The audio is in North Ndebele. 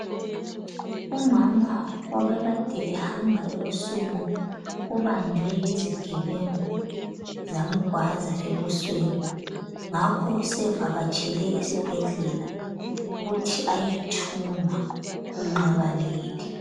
Umama obekade ehamba ebusuku ubanjwe yizigebengu zamgwaza ebusweni ngakho sevakatshele esibhedlela ukuthi ayethungwa inxeba leli.